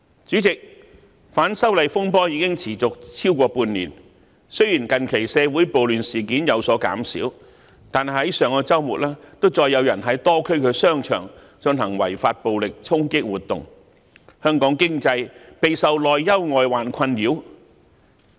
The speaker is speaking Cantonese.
主席，反修例風波已持續超過半年，雖然近期社會暴亂事件有所減少，但上周末再有人在多區商場進行違法暴力衝擊活動，香港經濟備受內憂外患困擾。